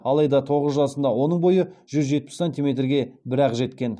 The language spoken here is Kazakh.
алайда тоғыз жасында оның бойы жүз жетпіс сантиметрге бір ақ жеткен